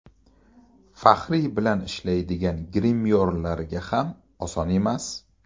Fahriye bilan ishlaydigan grimyorlarga ham oson emas.